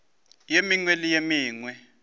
ye mengwe le ye mengwe